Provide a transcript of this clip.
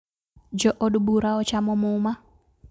Jo od bura ochamo muma